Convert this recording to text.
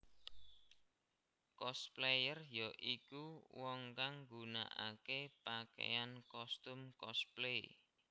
Cosplayer ya iku wong kang gunakaké pakaian kostum cosplay